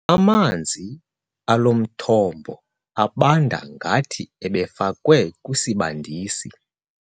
Amanzi alo mthombo abanda ngathi ebefakwe kwisibandisi.